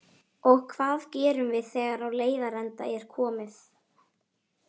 Og hvað gerum við þegar á leiðarenda er komið?